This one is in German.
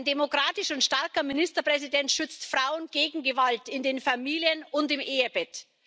Ein demokratischer und starker Ministerpräsident schützt Frauen gegen Gewalt in den Familien und im Ehebett.